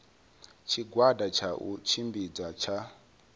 tshigwada tsha u tshimbidza tsha